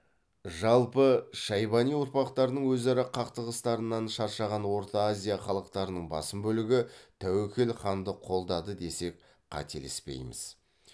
жалпы шайбани ұрпақтарының өзара қақтығыстарынан шаршаған орта азия халықтарының басым бөлігі тәуекел ханды қолдады десек қателеспейміз